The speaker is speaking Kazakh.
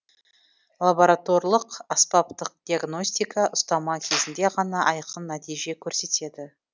лабораторлық аспаптық диагностика ұстама кезінде ғана айқын нәтиже көрсетеді